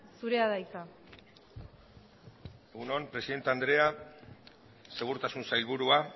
zurea da hitza egun on presidente andrea segurtasun sailburua